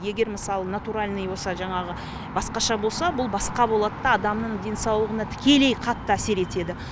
егер мысалы натуральный болса жаңағы басқаша болса бұл басқа болады да адамның денсаулығына тікелей қатты әсер етеді